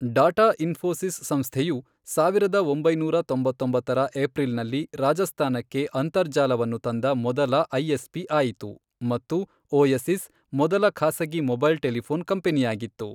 Data Infosys ಸಂಸ್ಥೆಯು, ಸಾವಿರದ ಒಂಬೈನೂರ ತೊಂಬತ್ತೊಂಬತ್ತರ ಏಪ್ರಿಲ್ನಲ್ಲಿ, ರಾಜಸ್ಥಾನಕ್ಕೆ ಅಂತರ್ಜಾಲವನ್ನು ತಂದ ಮೊದಲ ಐಎಸ್ಪಿ ಆಯಿತು ಮತ್ತು ಓಯಸಿಸ್, ಮೊದಲ ಖಾಸಗಿ ಮೊಬೈಲ್ ಟೆಲಿಫೋನ್ ಕಂಪನಿಯಾಗಿತ್ತು.